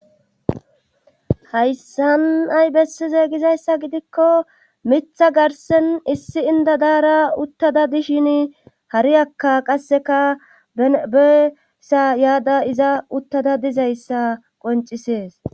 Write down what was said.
hayssan ay bessize gizayssa gidikko mitha garsen issi indadaara uttada dishin hariyakka qasseka bene beesa yaada iza uttada dizayssa qoncisees